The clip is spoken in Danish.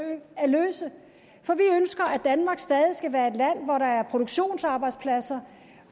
at løse for vi ønsker at danmark stadig skal være et land hvor der er produktionsarbejdspladser